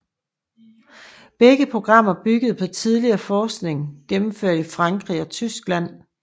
Begge programmer byggede på tidligere forskning gennemført i Frankrig og Tyskland